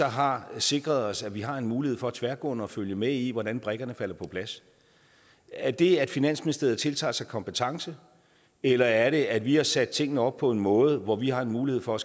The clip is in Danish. har sikret os at vi har en mulighed for tværgående at følge med i hvordan brikkerne falder på plads er det at finansministeriet tiltager sig kompetence eller er det at vi har sat tingene op på en måde hvor vi har en mulighed for at